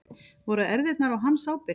Voru erfðirnar á hans ábyrgð?